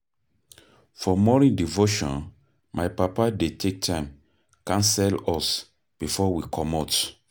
For morning devotion, my papa dey take time counsel us before we comot.